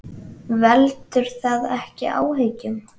Veldur það ekki áhyggjum?